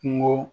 Kungo